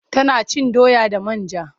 Tana cin doya da man ja.